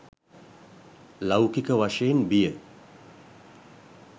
ලෞකික වශයෙන් බිය